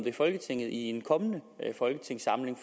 i folketinget i en kommende folketingssamling